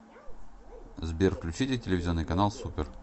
сбер включите телевизионный канал супер